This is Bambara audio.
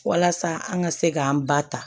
Walasa an ka se k'an ba ta